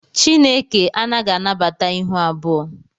Chineke anaghị anabata ịhụ abụọ